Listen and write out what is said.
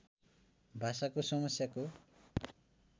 भाषाको समस्याको